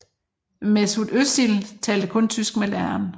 Mesut Özil talte kun tysk med læreren